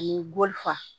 Ani gɔlifa